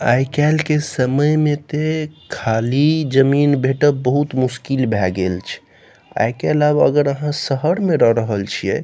आय केएल के समय में ते खाली जमीन भेंटव बहुत मुश्किल भेए गेल छै आय केएल आब अगर अहां शहर में रह रहल छीये --